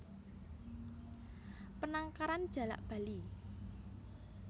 Penangkaran Jalak Bali